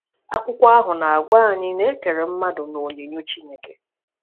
Akwụkwọ ahụ na-agwa anyị na e kere mmadụ n’onyinyo Chineke.